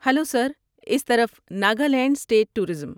Hello sir! اس طرف Nagaland state tourism.